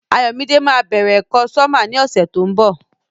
Ayọ̀mídé ma bẹ̀rẹ̀ ẹ̀kọ́ sọ́mà ní ọ̀sẹ̀ tó ń bọ̀.